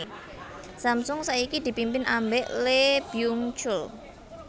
Samsung saiki dipimpin ambek Lee Byung chul